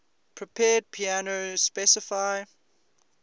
prepared piano specify